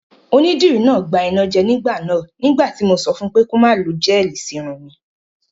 Onídìrí náà gbanájẹ ní ìgbà náà nígbà tí mo sọ fun pé kí ó má lo gẹ́ẹ̀lì sí irun mi